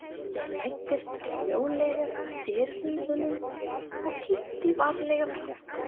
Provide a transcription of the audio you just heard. Ég læddist hljóðlega að dyrunum og kíkti varlega fram.